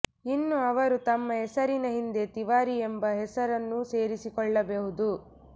ಇನ್ನು ಅವರು ತಮ್ಮ ಹೆಸರಿನ ಹಿಂದೆ ತಿವಾರಿ ಎಂಬ ಹೆಸರನ್ನೂ ಸೇರಿಸಿಕೊಳ್ಳಬಹುದು